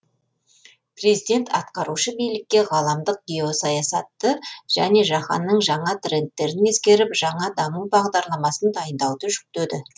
президент атқарушы билікке ғаламдық геосаясатты және жаһанның жаңа трендтерін ескеріп жаңа даму бағдарламасын дайындауды жүктеді